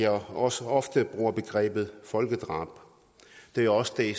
også ofte bruger begrebet folkedrab det er også det